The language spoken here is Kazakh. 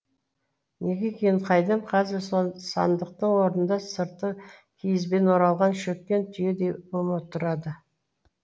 неге екенін қайдам қазір со сандықтың орнында сырты киізбен оралған шөккен түйедей бума тұрады